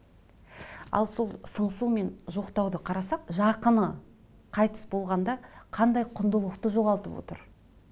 ал сол сыңсу мен жоқтауды қарасақ жақыны қайтыс болғанда қандай құндылықты жоғалтып отыр